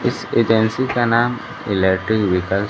इस एजेंसी का नाम एलिटिव व्हीकल --